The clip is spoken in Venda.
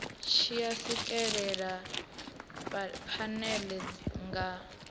tshi a swikelela phanele nga